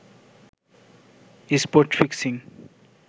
spot fixing